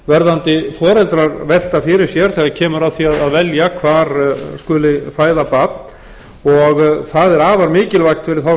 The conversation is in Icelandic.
verðandi foreldrar velta fyrir sér þegar kemur að því að velja hvar skuli fæða barn og það er afar mikilvægt fyrir þá